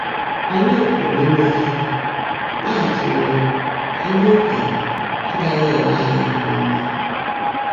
Ányị́ pụ́rụ́ íme íhèèré, ná-átụ́ ụ́jọ́ ná ndị́ ókényè ágághị́ élé ányị́ ányá ọ́mã.